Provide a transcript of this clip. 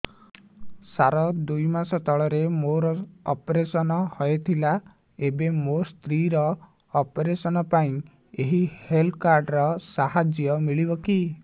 ସାର ଦୁଇ ମାସ ତଳରେ ମୋର ଅପେରସନ ହୈ ଥିଲା ଏବେ ମୋ ସ୍ତ୍ରୀ ର ଅପେରସନ ପାଇଁ ଏହି ହେଲ୍ଥ କାର୍ଡ ର ସାହାଯ୍ୟ ମିଳିବ କି